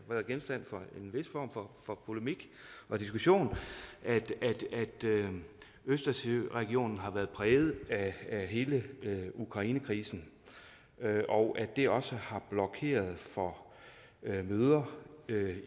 været genstand for en vis form for for polemik og diskussion at østersøregionen har været præget af hele ukrainekrisen og at det også har blokeret for møder